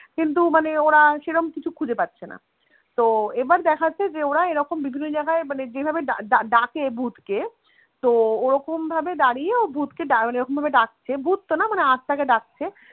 কিন্তু মানে ওরা সেরম কিছু খুঁজে পাচ্ছেনা, তো এবার দেখাচ্ছে যে ওরা এরকম বিভিন্ন জায়গায় মানে যেভাবে ~ ডাকে ভুতকে তো ওরকম ভাবে দাঁড়িয়ে ও ভুতকে ভাবে ডাকছে সে ভুত তো না মানে আত্মাকে ডাকছে